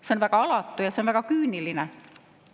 See on väga alatu ja see on väga küüniline.